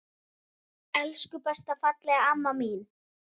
Elsku besta fallega amma mín.